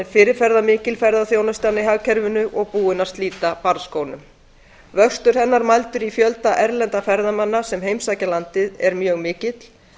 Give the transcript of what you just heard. fyrirferðarmikil í hagkerfinu og búin að slíta barnsskónum vöxtur hennar mældur í fjölda erlendra ferðamanna sem heimsækja landið er mjög mikill